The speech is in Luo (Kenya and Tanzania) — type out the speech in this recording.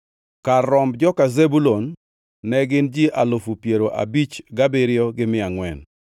Kar romb joka Zebulun ne gin ji alufu piero abich gabiriyo gi mia angʼwen (57,400).